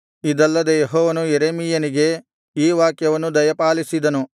ಇದಲ್ಲದೆ ಯೆಹೋವನು ಯೆರೆಮೀಯನಿಗೆ ಈ ವಾಕ್ಯವನ್ನು ದಯಪಾಲಿಸಿದನು